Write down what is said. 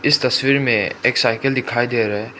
इस तस्वीर में एक साइकिल दिखाई दे रहा है।